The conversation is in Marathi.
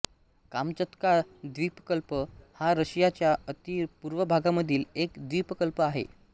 कामचत्का द्वीपकल्प हा रशिया च्या अति पूर्व भागामधील एक द्वीपकल्प आहे